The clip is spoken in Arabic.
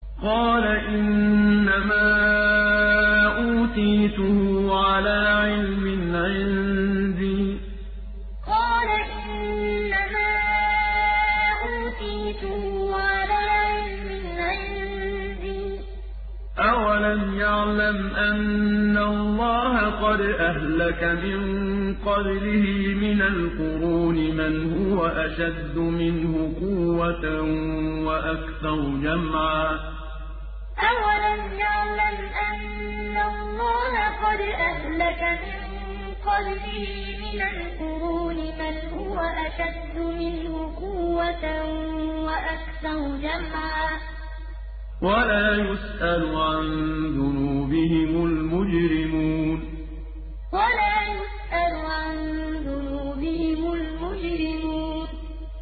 قَالَ إِنَّمَا أُوتِيتُهُ عَلَىٰ عِلْمٍ عِندِي ۚ أَوَلَمْ يَعْلَمْ أَنَّ اللَّهَ قَدْ أَهْلَكَ مِن قَبْلِهِ مِنَ الْقُرُونِ مَنْ هُوَ أَشَدُّ مِنْهُ قُوَّةً وَأَكْثَرُ جَمْعًا ۚ وَلَا يُسْأَلُ عَن ذُنُوبِهِمُ الْمُجْرِمُونَ قَالَ إِنَّمَا أُوتِيتُهُ عَلَىٰ عِلْمٍ عِندِي ۚ أَوَلَمْ يَعْلَمْ أَنَّ اللَّهَ قَدْ أَهْلَكَ مِن قَبْلِهِ مِنَ الْقُرُونِ مَنْ هُوَ أَشَدُّ مِنْهُ قُوَّةً وَأَكْثَرُ جَمْعًا ۚ وَلَا يُسْأَلُ عَن ذُنُوبِهِمُ الْمُجْرِمُونَ